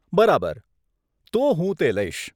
બરાબર. તો હું તે લઈશ.